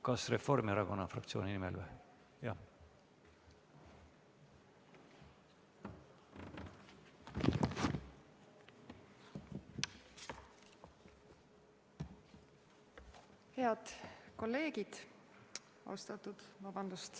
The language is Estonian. Kas Reformierakonna fraktsiooni nimel?